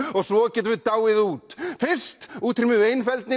og svo getum við dáið út fyrst útrýmum við